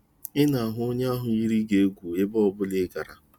Ị na-ahụ onye ahụ yiri gị egwu ebe ọ bụla ị gara.